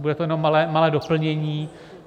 Bude to jenom malé doplnění.